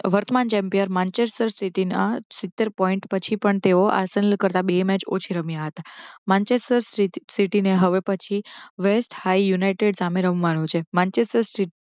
વર્તમાન champion Manchester સ્થિતિના સીતેર point પછી પણ તેઓ આર્સેલન કરતા બે મેચ ઓછી રમ્યા હતા. માનચય સ્થિતિને હવે પછી wealth high state united સામે રમવાનું છે માનસેચર